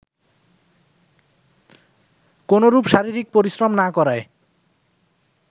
কোনরূপ শারীরিক পরিশ্রম না করায়